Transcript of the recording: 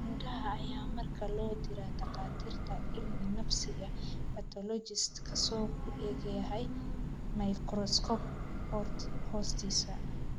Nudaha ayaa markaa loo diraa takhaatiirta cilmi-nafsiga (pathologist) kaasoo ku eegaya mikroskoob hoostiisa.